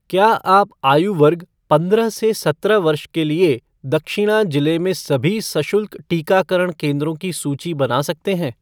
क्या आप आयु वर्ग पंद्रह से सत्रह वर्ष के लिए दक्षिणा जिले में सभी सशुल्क टीकाकरण केंद्रों की सूची बना सकते हैं?